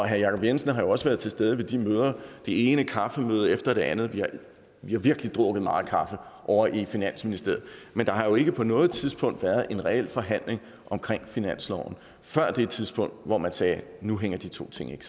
jacob jensen har jo også været til stede ved det ene kaffemøde efter det andet vi har virkelig drukket meget kaffe ovre i finansministeriet men der har jo ikke på noget tidspunkt været en reel forhandling om finansloven før det tidspunkt hvor man sagde nu hænger de to ting